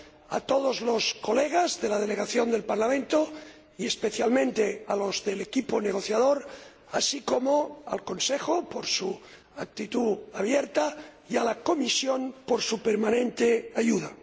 a todos los colegas de la delegación del Parlamento y especialmente a los del equipo negociador, así como al Consejo, por su actitud abierta, y a la Comisión, por su permanente ayuda.